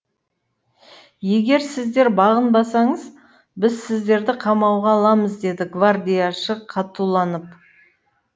егер сіздер бағынбасаңыз біз сіздерді қамауға аламыз деді гвардияшы қатуланып